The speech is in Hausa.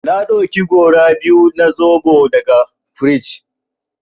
Na ɗauki gora biyu na zoɓo daga frij.